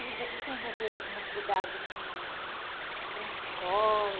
E você se envolveu em alguma atividade, assim, teatrinho de escola?